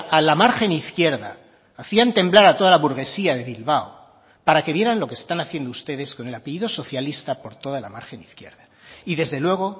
a la margen izquierda hacían temblar a toda la burguesía de bilbao para que vieran lo que están haciendo ustedes con el apellido socialista por toda la margen izquierda y desde luego